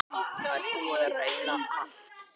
Það er búið að reyna allt.